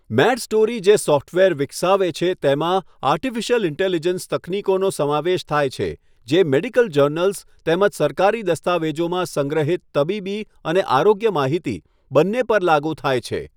Medstory જે software વિકસાવે છે તેમાં આર્ટિફિશિયલ ઇન્ટેલિજન્સ તકનીકોનો સમાવેશ થાય છે જે મેડિકલ જર્નલ્સ તેમજ સરકારી દસ્તાવેજોમાં સંગ્રહિત તબીબી અને આરોગ્ય માહિતી બંને પર લાગુ થાય છે.